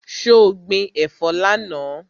So gbin ẹ̀fọ́ lánàá?